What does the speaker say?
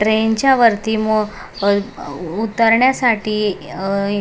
train च्या वरती मो अ उतरण्यासाठी अ ए --